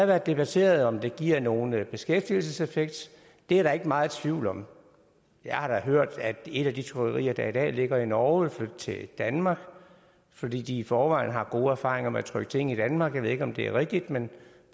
været debatteret om det giver nogen beskæftigelseseffekt det er der ikke meget tvivl om jeg har da hørt at et af de trykkerier der i dag ligger i norge vil flytte til danmark fordi de i forvejen har gode erfaringer med at trykke ting i danmark jeg ved ikke om det er rigtigt men